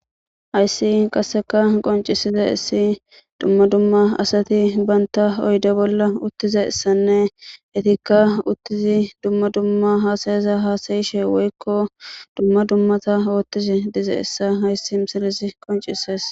Hayssi qasseka qoncisidays dumma dumma assathi bantha oyde bolla uthizayssane ethkka dumma dumma hasayisha hasaya woykko dumma dumma othishe dizayssa hayssi missilezi qoncises.